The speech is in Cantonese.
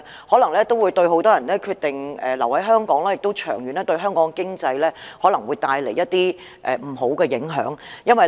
可能有很多年輕人決定不留在香港，這的確會對香港的長遠經濟帶來一些不好的影響。